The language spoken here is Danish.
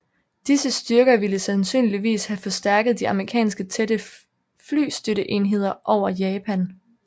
Disse styrker ville sandsynligvis have forstærket de amerikanske tætte flystøtteenheder over Japan